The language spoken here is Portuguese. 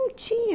Não tinha.